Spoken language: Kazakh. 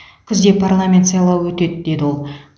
күзде парламент сайлауы өтеді деді ол